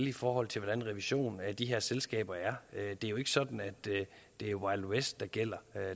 i forhold til hvordan revisionen af de her selskaber er det er jo ikke sådan at det er wild west regler der gælder